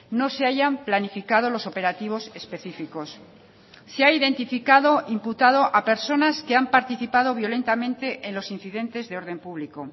no se hayan planificado los operativos específicos se ha identificado imputado a personas que han participado violentamente en los incidentes de orden público